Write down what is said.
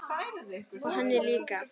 Og henni líka.